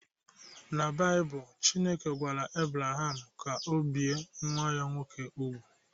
Na Baịbụl, Chineke gwara Ebraham ka ọ bie nwa ya nwoke úgwù